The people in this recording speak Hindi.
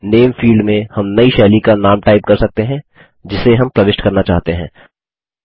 000525 000429 नामे फील्ड में हम नयी शैली का नाम टाइप कर सकते हैं जिसे हम प्रविष्ट करना चाहते हैं